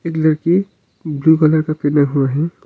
लड़की blue colour का पहना हुआ है।